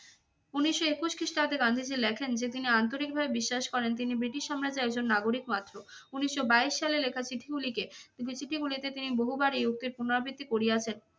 উনিশশো একুশ খ্রিস্টাব্দে গান্ধীজি লেখেন যে তিনি আন্তরিকভাবে বিশ্বাস করেন তিনি ব্রিটিশ সাম্রাজ্যের একজন নাগরিক মাত্র। উনিশশো বাইশ সালের লেখা চিঠি গুলিকে তিনি চিঠি গুলিতে তিনি বহুবার এই উক্তির পুনরাবৃত্তি করিয়াছেন।